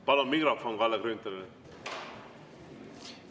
Palun mikrofon Kalle Grünthalile!